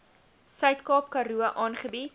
suidkaap karoo aangebied